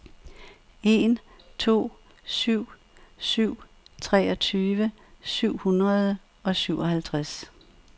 en to syv syv treogtyve syv hundrede og syvoghalvtreds